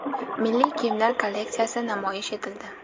Milliy kiyimlar kolleksiyasi namoyish etildi.